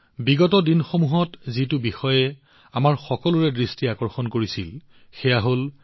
বিগত দিনকেইটাত আমাৰ সকলোৰে এটা কথাই দৃষ্টি আকৰ্ষণ কৰিছিল সেয়া হৈছে চিতা